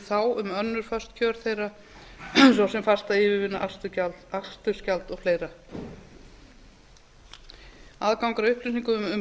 þá um önnur föst kjör þeirra svo sem fasta yfirvinnu akstursgjald og fleiri aðgangur að upplýsingum um laun